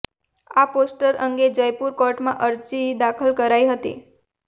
આ પોસ્ટર અંગે જયપુર કોર્ટમાં અરજી દાખલ કરાઈ હતી